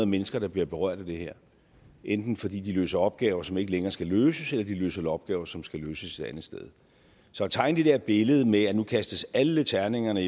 mennesker der bliver berørt af det her enten fordi de løser opgaver som ikke længere skal løses eller fordi de løser opgaver som skal løses et andet sted så at tegne det der billede med at nu kastes alle terningerne